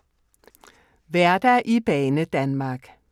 Hverdag i Banedanmark